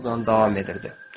Drougan davam edirdi.